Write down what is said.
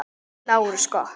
LÁRUS: Gott.